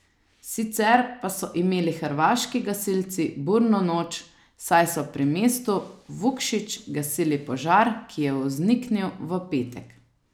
Sicer pa so imeli hrvaški gasilci burno noč, saj so pri mestu Vukšić gasili požar, ki je vzniknil v petek.